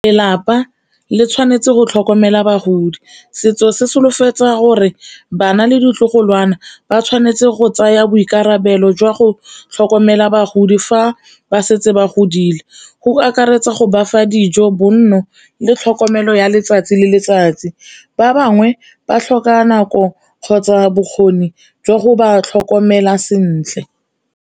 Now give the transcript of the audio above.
Lelapa le tshwanetse go tlhokomela bagodi, setso se solofetsa gore bana le ditlogolwana ba tshwanetse go tsaya boikarabelo jwa go tlhokomela bagodi fa ba setse ba godile, go akaretsa go bafa dijo, bonno le tlhokomelo ya letsatsi le letsatsi. Ba bangwe ba tlhoka nako kgotsa bokgoni jwa go ba tlhokomela sentle.